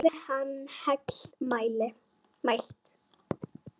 Hafi hann heill mælt.